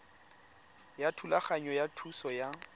ya thulaganyo ya thuso ya